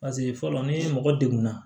Paseke fɔlɔ ni mɔgɔ degunna